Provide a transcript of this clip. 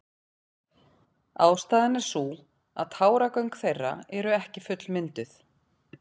Ástæðan er sú að táragöng þeirra eru ekki fullmynduð.